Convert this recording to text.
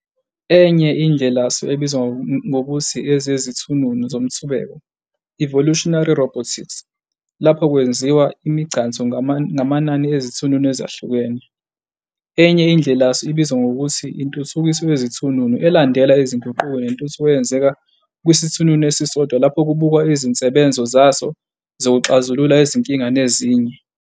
Enye indlelasu ebizwa ngokuthi ezeziThununu zomthubeko "evolutionary robotics", lapho kwenziwa imigcanso ngamanani ezithununu ezihlukene. Enye indlelasu ibizwa ngokuthi intuthukiso yezezithununu, elandela izinguquko nentuthuko eyenzeka kwisithununu esisodwa lapho kubukwa izinsebenzo zaso zokuxazula izinkinga nezinye.